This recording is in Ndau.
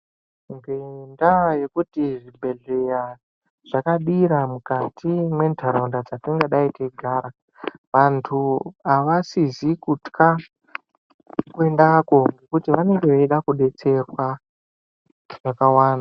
Ngendaa yekuti zvibhedhleya zvakadira mukati mwentharaunda dzatingadai teigara vanthu avasizi kutka kuendako ngekuti vanenge veida kudetserwa zvakawanda.